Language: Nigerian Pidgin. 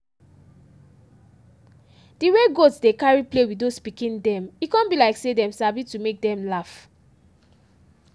de way goats dey carry play with those pikin dem e come be like say dem sabi to make them laugh.